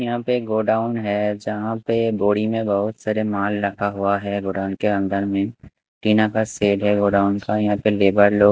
यहां पे एक गोडाउन है जहां पे बोरी में बहुत सारे माल लगा हुआ है गोडाउन के अंदर में टीना का शेड है गोडाउन का यहां पे लेबर लोग--